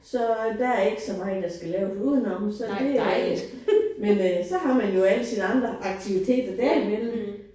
Så der er ikke så meget der skal laves udenom så det. Men øh så har man jo alle sine andre aktiviteter derimellem